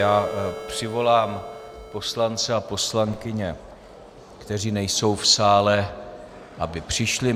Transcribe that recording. Já přivolám poslance a poslankyně, kteří nejsou v sále, aby přišli.